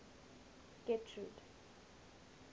getrude